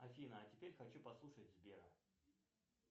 афина а теперь хочу послушать сбера